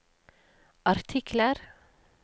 artikler